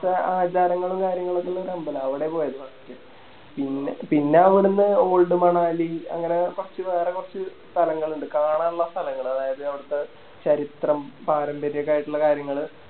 അപ്പൊ ആചാരങ്ങളും കാര്യങ്ങളൊക്കെ ഉള്ളോര് അമ്പല അവിടെ പോയി First പിന്നെ അവിടുന്ന് Old മണാലി അങ്ങനെ കൊർച് വേറെ കൊർച്ച് സ്ഥലങ്ങളിണ്ട് കാണാനിള്ള സ്ഥലങ്ങള് അതായത് അവിടുത്തെ ചരിത്രം പാരമ്പര്യക്കെ ആയിട്ടിള്ള കാര്യങ്ങള്